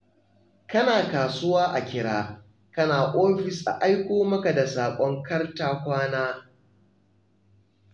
Kana kasuwa a kira, kana ofis a aiko maka da saƙon kar-ta-kwana.